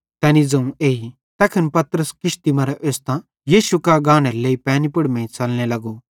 तैनी ज़ोवं एई तैखन पतरस किश्ती मरां ओस्तां यीशु कां गानेरे लेइ पैनी पुड़ मेइं च़लने लगो